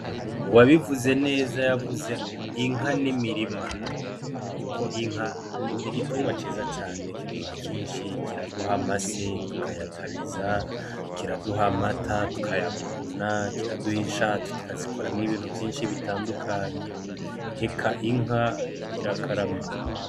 Uwabivuze neza yavuze ngo "Inka n'imirima" kuko Inka ni igitungwa ciza cane kiduhaye vyinshi, kiraduha amase tukayatabiza, kiraduha amata tukayaguguna, kiraduha inshato tukazikoramwo ibintu vyinshi bitandukanye, eka inka irakarama.